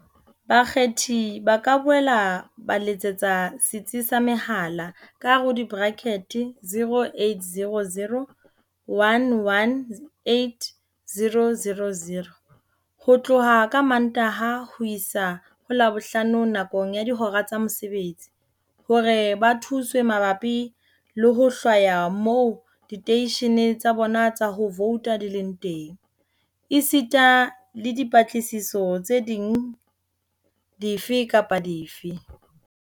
Bakgethi ba ka boela ba letsetsa Setsi sa Mehala, 0800 11 8000, ho tloha ka Mantaha ho isa ho Labohlano nakong ya dihora tsa mosebetsi, hore ba thuswe mabapi le ho hlwaya moo diteishene tsa bona tsa ho vouta di leng teng, esita le dipatlisiso tse ding dife kapa dife.